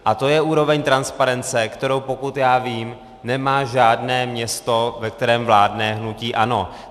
A to je úroveň transparence, kterou, pokud já vím, nemá žádné město, ve kterém vládne hnutí ANO.